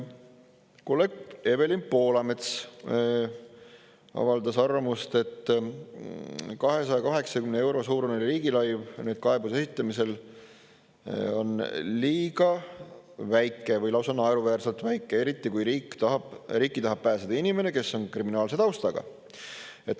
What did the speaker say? Kolleeg Evelin Poolamets avaldas arvamust, et 280 euro suurune riigilõiv kaebuse esitamisel on liiga väike või lausa naeruväärselt väike, eriti kui riiki tahab pääseda inimene, kes on kriminaalse taustaga.